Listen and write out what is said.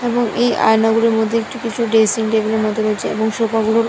এবং এই আয়না গুলোর মধ্যে একটু কিছু ড্রেসিং টেবিল - এর মতো রয়েছে এবং সোফা গুলোর--